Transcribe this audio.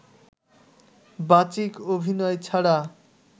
বাচিক অভিনয় ছাড়া